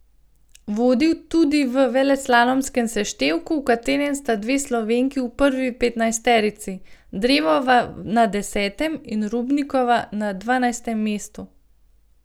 Vodi tudi v veleslalomskem seštevku, v katerem sta dve Slovenki v prvi petnajsterici, Drevova na desetem in Robnikova na dvanajstem mestu.